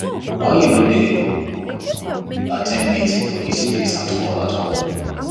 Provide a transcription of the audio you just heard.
why you no dey at ten d meeting for dis place at all at all